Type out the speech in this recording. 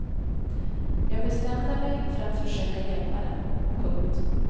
Jag bestämde mig för att försöka hjälpa dem. punkt